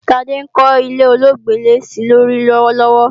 Ṣadé ń kọ́ ilé ọlọ́gbẹ́lẹ́-sílórí lọ́wọ́lọ́wọ́